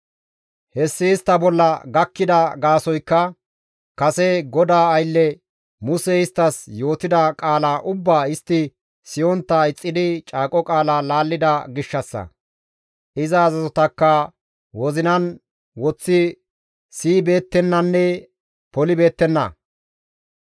Hessi istta bolla gakkida gaasoykka kase GODAA aylle Musey isttas yootida qaala ubbaa istti siyontta ixxidi caaqo qaala laallida gishshassa; iza azazotakka wozinan woththi siyibeettennanne polibeettenna.